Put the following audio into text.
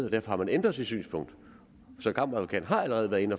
og derfor har man ændret sit synspunkt så kammeradvokaten